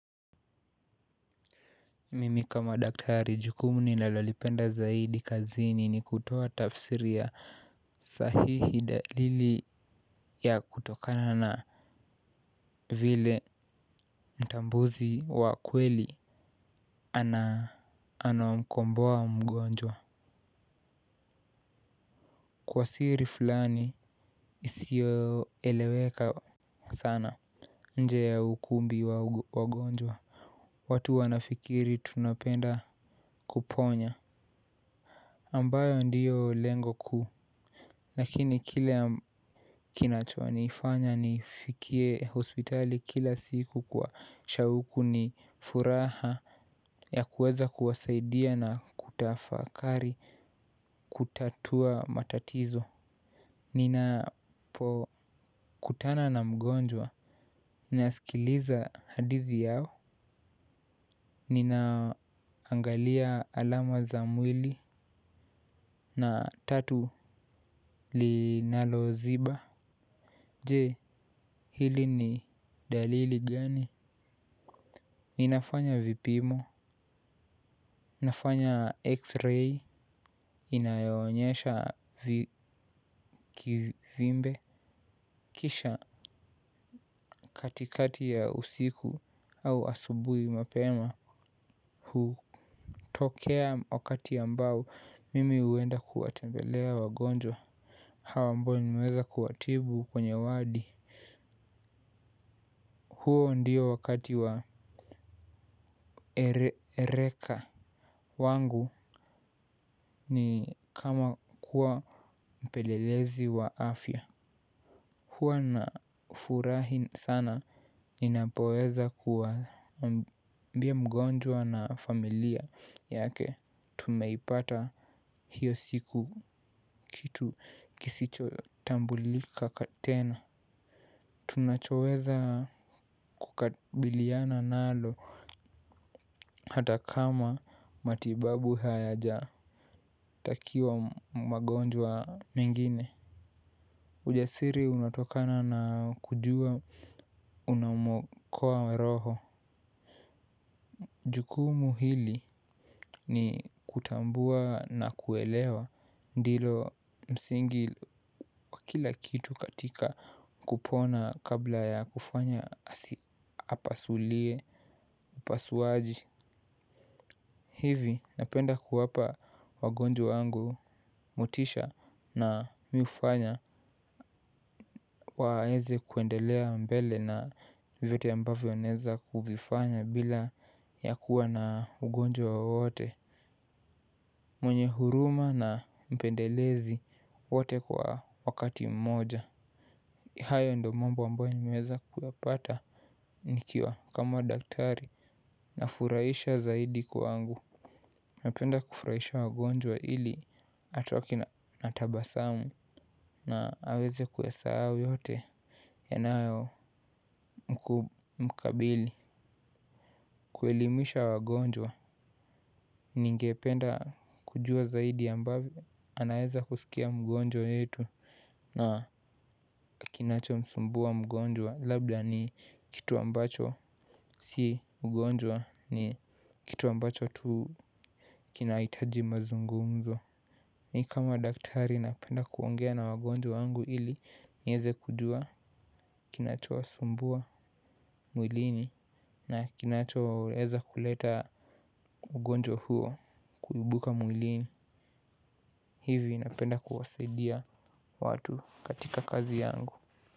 Mimi kama daktari jukumu ni nalolipenda zaidi kazini ni kutoa tafsiri ya sahihi dalili ya kutokana na vile mtambuzi wa kweli. Anaomkomboa mgonjwa. Kwa siri fulani isio eleweka sana nje ya ukumbi wa wagonjwa. Watu wanafikiri tunapenda kuponya ambayo ndiyo lengo ku lakini kile kinachonifanya nifikie hospitali kila siku kwa shauku ni furaha ya kuweza kuwasaidia na kutafakari kutatua matatizo. Nina po kutana na mgonjwa. Nasikiliza hadithi yao. Ninaangalia alama za mwili. Na tatu li nalo ziba. Je, hili ni dalili gani? Ninafanya vipimo. Nafanya x-ray. Inayoonyesha vikivimbe. Kisha katikati ya usiku au asubui mapema. Hutokea wakati ambao mimi uenda kuwatembelea wagonjwa. Hawa ambao ni meweza kuwatibu kwenye wadi. Huo ndio wakati wa ereka. Wangu ni kama kuwa mpelelezi wa afya. Hua na furahi sana. Ninapoweza kuwaambia mgonjwa na familia yake. Tumeipata hiyo siku kitu kisicho tambulika tena. Tunachoweza kukabiliana nalo hata kama matibabu hayaja takiwa magonjwa mengine. Ujasiri unatokana na kujua unamuokoa roho. Jukumu hili ni kutambua na kuelewa. Ndilo msingi wa kila kitu katika kupona kabla ya kufanya apasulie upasuaji. Hivi napenda kuwapa wagonjwa wangu motisha na mi hufanya. Waweze kuendelea mbele na vyovyote ambavyo anaeza kuvifanya bila ya kuwa na ugonjwa wowote. Mwenye huruma na mpendelezi wote kwa wakati mmoja. Hayo ndo mambo ambayo nimeza kuyapata nikiwa kama daktari na furaisha zaidi kwa angu. Napenda kufuraisha wagonjwa ili atoke na tabasamu na aweze kuyasahau yote. Yanayo mkabili kuelimisha wagonjwa. Ningependa kujua zaidi ambavyo anaeza kusikia mgonjwa yetu. Na kinacho msumbua mgonjwa labda ni kitu ambacho si mgonjwa ni kitu ambacho tu kinaitaji mazungumzo. Ni kama daktari napenda kuongea na wagonjwa wangu ili nieze kujua kinachowa sumbua mwilini na kinachoeza kuleta ugonjwa huo kuibuka mwilini hivi napenda kuwasaidia watu katika kazi yangu.